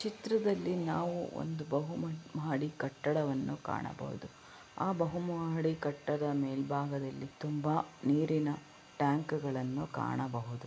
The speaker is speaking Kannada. ಚಿತ್ರದಲ್ಲಿ ನಾವು ಒಂದು ಬಹುಮಾಡಿ ಕಟ್ಟಡವನ್ನು ಕಾಣಬಹುದು ಆ ಬಹುಮಹಡಿ ಕಟ್ಟಡ ಮೆಲ್ ಭಾಗದಲ್ಲಿ ತುಂಬಾ ನೀರಿನ ಟ್ಯಾಂಕ್ ಗಳನ್ನೂ ಕಾಣಬಹುದು.